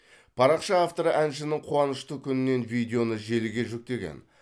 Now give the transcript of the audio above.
парақша авторы әншінің қуанышты күнінен видеоны желіге жүктеген